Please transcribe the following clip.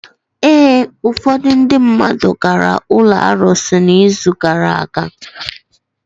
Ee, ufọdụ ndị mmadụ gara ụlọ arụsị n'izu gara aga.